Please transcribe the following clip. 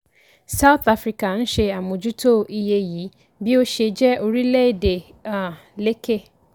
south africa ń ṣe àmójútó iye yìí bí ó ṣe jẹ́ orílẹ̀ èdè um lékè.